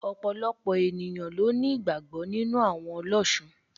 Òpòlopò ènìyãn ló ní ìgbàgbó nínú àwon olósun